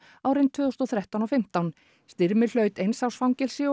árin tvö þúsund og þrettán og fimmtán Styrmir hlaut eins árs fangelsi